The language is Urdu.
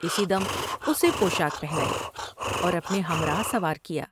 اسی دم اسے پوشاک پہنائی اور اپنے ہم راہ سوار کیا ۔